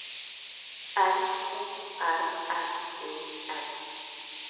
N O R M E N